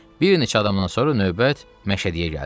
Bir neçə adamdan sonra növbət Məşədiyə gəldi.